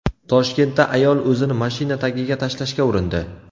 Toshkentda ayol o‘zini mashina tagiga tashlashga urindi.